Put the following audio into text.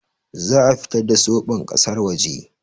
Za'a fitar da soɓon kasar waje